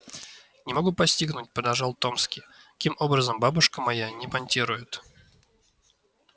не могу постигнуть продолжал томский каким образом бабушка моя не понтирует